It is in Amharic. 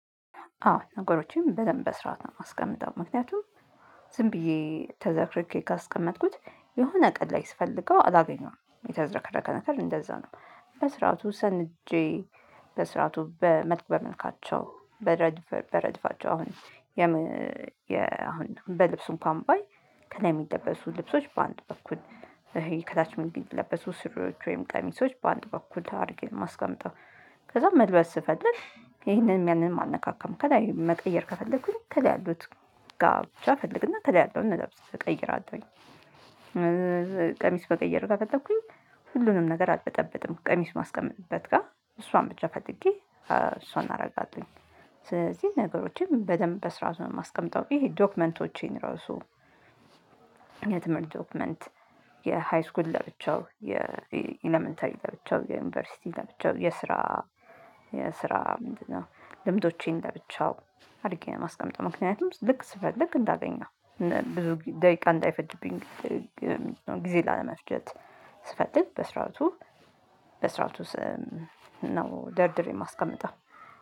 አዎ ነገሮችን በደንብ በስራአት ነው የማስቀምጠው ምክንያቱም ዝም ብዬ ተዘረክርኬ ካስቀመጥኩት የሆነ ቀን ላይ ስፈልገው አላገኘሁም የተዘረከረከ ነገር እንደዛ ነው። በስርዓቱ ሰንጄ በስርዓቱ በመልክ በመልካቸው በረድፍ በረድፋቸው አሁን። በልብሱ እንኳን ባይ ከላይ የሚለበሱ ልብሶች በአንድ በኩል ከታች ምንጊዜም የሚለበሱ ሱሪዎች ወይም ቀሚሶች በአንድ በኩል አድርጌ ነው የማስቀመጥው። ከዛ መልበስ ስፈልግ ይሄንንም ያንንም አልነካካም ከላይ መቀየር ከፈለኩኝ ከላይ ያሉት ጋ ብቻ ፈልግና ተላይ ያለዉን ልብስ እቀይራለሁኝ። መቀየረ ከፈለኩኝ ሁሉንም ነገር አልበጠበጥም ቀሚስ ማስቀመጥበት ጋር እሷን ብቻ ፈልጌ እሷን አደርጋለሁኝ። ስለዚህ ነገሮችን በደንብ በስራአት ው ማስቀመጥው ይሄ ዶክመንቶቼን ራሱ። የትምህርት ዶክመንት የሃይስኩል ለብቻው የኢለመንተሪ ለብቻው ዩኒቨርሲቲ ለብቻው የስራ የስራ ምንድነው? ልምዶቼን ለብቻው አድርጌ ነው የማስቀምጠው። ምክንያቱም ልክ ስፈልግ እንዳገኘው ብዙ ደቂቃ እንዳይፈጅብኝ። ጊዜ ላለመፍጀት ስፈልግ በስራአቱ በስርዓቱ ነው ደርድሬ የማስቀምጠው